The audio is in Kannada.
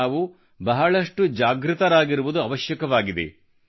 ನಾವು ಬಹಳಷ್ಟು ಜಾಗೃತರಾಗಿರುವುದು ಅವಶ್ಯಕವಾಗಿದೆ